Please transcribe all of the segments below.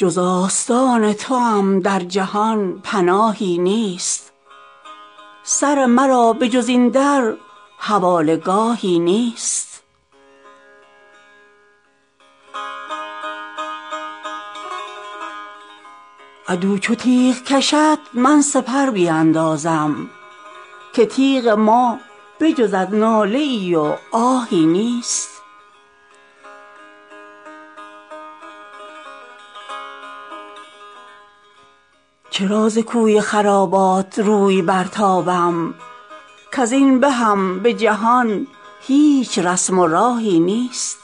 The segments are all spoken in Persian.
جز آستان توام در جهان پناهی نیست سر مرا به جز این در حواله گاهی نیست عدو چو تیغ کشد من سپر بیندازم که تیغ ما به جز از ناله ای و آهی نیست چرا ز کوی خرابات روی برتابم کز این بهم به جهان هیچ رسم و راهی نیست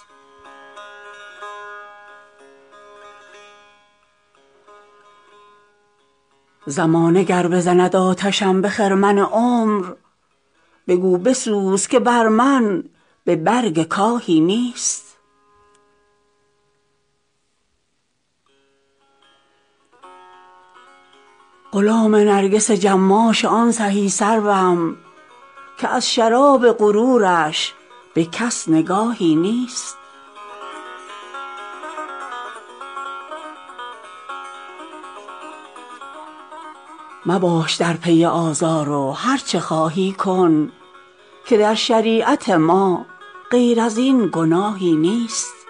زمانه گر بزند آتشم به خرمن عمر بگو بسوز که بر من به برگ کاهی نیست غلام نرگس جماش آن سهی سروم که از شراب غرورش به کس نگاهی نیست مباش در پی آزار و هرچه خواهی کن که در شریعت ما غیر از این گناهی نیست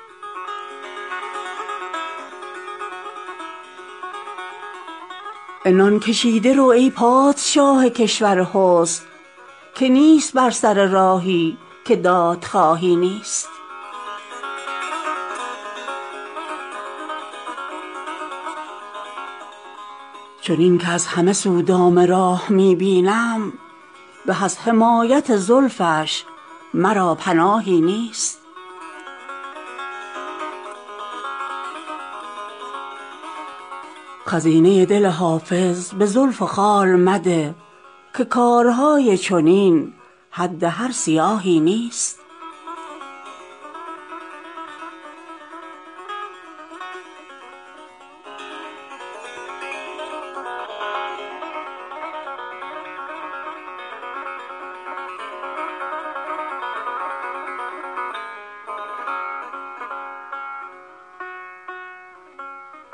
عنان کشیده رو ای پادشاه کشور حسن که نیست بر سر راهی که دادخواهی نیست چنین که از همه سو دام راه می بینم به از حمایت زلفش مرا پناهی نیست خزینه دل حافظ به زلف و خال مده که کارهای چنین حد هر سیاهی نیست